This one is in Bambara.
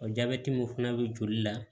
min fana bɛ joli la